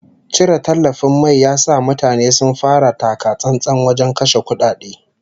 Cire tallafin mai ya sa mutane sun fara taka-tsantsan wajen kashe kudade